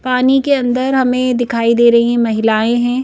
पानी के अंदर हमें दिखाई दे रही है महिलाएं हैं।